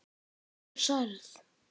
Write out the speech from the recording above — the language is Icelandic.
Ég er særð.